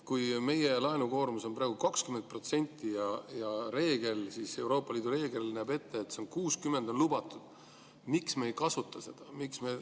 Kui meie laenukoormus on praegu 20% ja Euroopa Liidu reegel näeb ette, et 60% on lubatud, siis miks me ei kasuta seda?